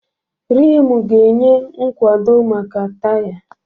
Rimu ga-enye nkwado maka taya.